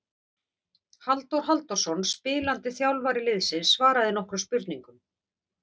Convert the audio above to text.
Halldór Halldórsson spilandi þjálfari liðsins svaraði nokkrum spurningum.